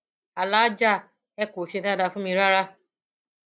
aláàjà ẹ kò ṣe dáadáa fún mi rárá